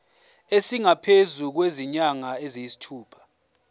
esingaphezu kwezinyanga eziyisithupha